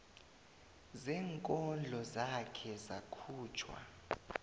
zeenkondlo zakhe zakhutjhwa